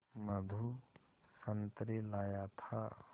मधु संतरे लाया था